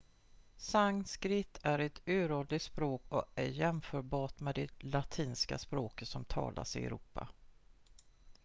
sanskrit är ett uråldrigt språk och är jämförbart med det latinska språket som talas i europa